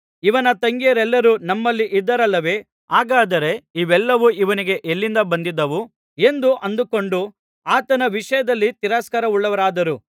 ಇವನ ತಂಗಿಯರೆಲ್ಲರೂ ನಮ್ಮಲ್ಲಿ ಇದ್ದಾರಲ್ಲವೇ ಹಾಗಾದರೆ ಇವೆಲ್ಲವೂ ಇವನಿಗೆ ಎಲ್ಲಿಂದ ಬಂದಿದ್ದಾವು ಎಂದು ಅಂದುಕೊಂಡು ಆತನ ವಿಷಯದಲ್ಲಿ ತಿರಸ್ಕಾರವುಳ್ಳವರಾದರು